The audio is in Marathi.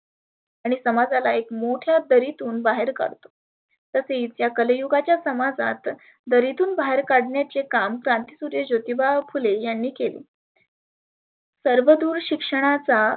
आणि समाजाला एक मोठ्या दरितून बाहेर काढतो. तर इतक्या कलीयुगाच्या समाजात दरितून बाहेर काढण्याची हे काम क्रांती गुरु ज्योतीबा फुले यांंनी केले. सर्व दुर शिक्षणाचा